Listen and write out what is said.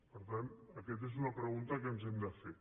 per tant aquesta és una pregunta que ens hem de fer